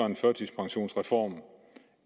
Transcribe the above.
en førtidspensionsreform